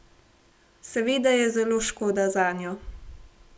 Seveda je zelo škoda zanjo.